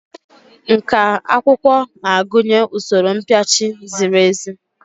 Nkà akwụkwọ na-agụnye usoro mpịachi ziri ezi.